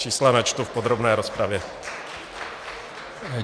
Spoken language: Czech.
Čísla načtu v podrobné rozpravě.